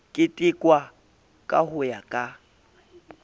ketekwa ka ho ya ka